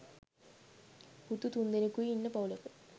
පුත්තු තුන්දෙනෙකුයි ඉන්න පවුලක